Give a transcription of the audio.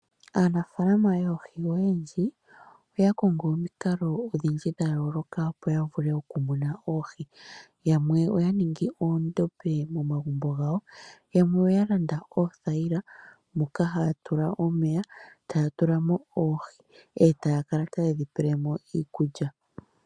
Aanafaalama yoohi oyendji oya kongo omikalo odhindji dha yoloka opo ya vule okumuna oohi. Yamwe oya ningi oondombe momagumbo gawo , yamwe oya landa oothayila moka haya ya tula omeya, eetatulamo oohi, etaya kala taye dhi tulilemo iikulya.